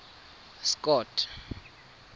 scott